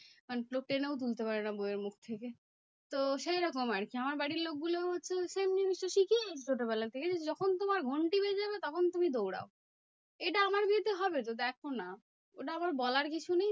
মানে লোক টেনেও তুলতে পারবে না বইয়ের মুখ থেকে। তো সেইরকম আরকি আমার বাড়ির লোকগুলোও তো same জিনিসটা শিখে ছোটবেলা থেকে যখন তোমার ঘন্টি বেজে যাবে তখন তুমি দৌড়াও। এটা আমার বিয়েতে হবে তো দেখোনা? ওটা আমার বলার কিছু নেই।